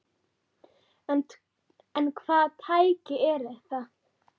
En hvaða tæki eru það?